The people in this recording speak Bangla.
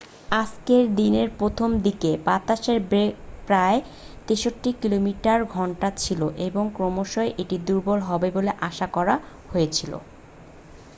আজকে দিনের প্রথম দিকে বাতাসের বেগ প্রায় 83 কিমি/ঘন্টা ছিল এবং ক্রমশই এটি দুর্বল হবে বলে আশা করা হয়েছিল।